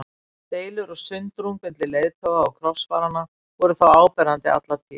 Deilur og sundrung milli leiðtoga krossfaranna voru þó áberandi alla tíð.